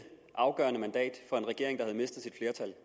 afgørende mandat for en regering der havde mistet sit flertal